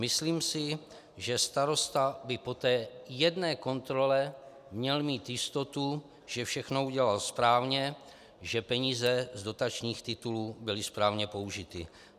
Myslím si, že starosta by po té jedné kontrole měl mít jistotu, že všechno udělal správně, že peníze z dotačních titulů byly správně použity.